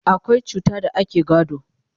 akwai cuta da ake gado